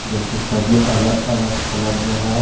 जो की सभी अलग अलग कलर में है।